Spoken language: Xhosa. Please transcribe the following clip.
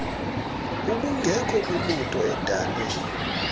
ubungekho kwimoto edale